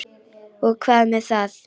Jú og hvað með það!